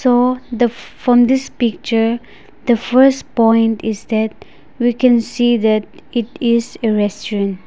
uh the from this picture the first point is that we can see that it is a restaurant.